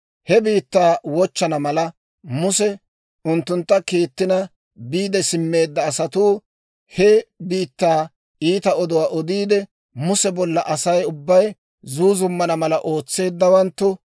He biittaa wochchana mala, Muse unttuntta kiittina biide simmeedda asatuu, he biittaa iita oduwaa odiide, Muse bolla Asay ubbay zuuzummana mala ootseeddawanttu,